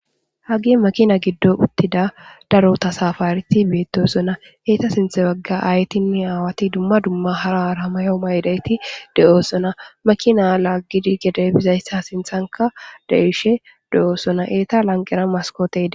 Hagey makina goddon uttida tasaafaareti beettoosona eta sinthe bagga aayetinne aawati dumma dumma mayo mayidi de7iyayti doosona.makina laaggide gede biyayta sinthani de7oosona.eta lanqera mastootey de7ees.